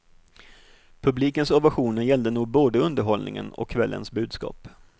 Publikens ovationer gällde nog både underhållningen och kvällens budskap.